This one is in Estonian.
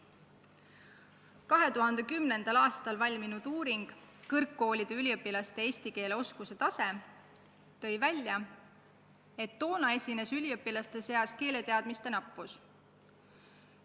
2010. aastal valminud uurimus "Kõrgkoolide üliõpilaste eesti keele oskuse tase" tõi välja, et üliõpilaste keeleteadmised on napid.